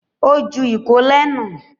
Ó ju ìkólẹ̀ nù